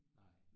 Nej